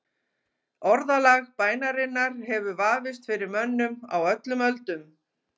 Orðalag bænarinnar hefur vafist fyrir mönnum á öllum öldum.